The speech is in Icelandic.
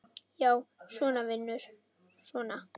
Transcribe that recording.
Já, svona, vinur, svona!